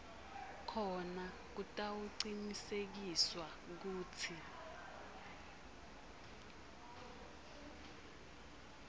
khona kutawucinisekiswa kutsi